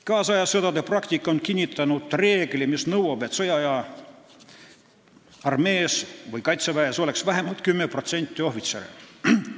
Kaasaja sõdade praktika on kinnitanud reeglit, et sõjaaja armees või kaitseväes peaks olema vähemalt 10% ohvitsere.